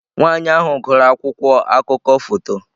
Nwanyị ahụ gụrụ akwụkwọ akụkọ foto.